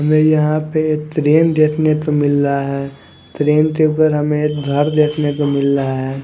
हमे यहा पर तरेन देखने को मिल रहा है तरेन के उपर हमे देखने को मिल रहा है।